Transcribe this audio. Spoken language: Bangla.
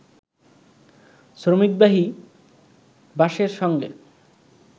শ্রমিকবাহী বাসের সঙ্গে